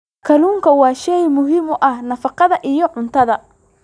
Kalluunku waa shay muhiim u ah nafaqada iyo cuntada.